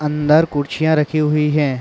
अन्दर कुरछियाँ रखी हुई हैं।